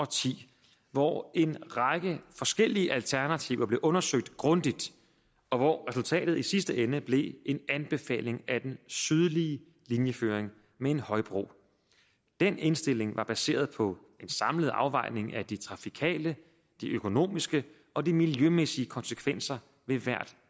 ti hvor en række forskellige alternativer blev undersøgt grundigt og hvor resultatet i sidste ende blev en anbefaling af den sydlige linjeføring med en højbro den indstilling var baseret på en samlet afvejning af de trafikale de økonomiske og de miljømæssige konsekvenser ved hvert